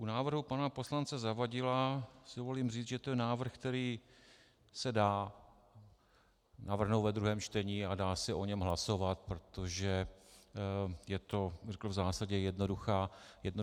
U návrhu pana poslance Zavadila si dovolím říct, že to je návrh, který se dá navrhnout ve druhém čtení a dá se o něm hlasovat, protože je to, řekl bych, v zásadě jednoduchá debata.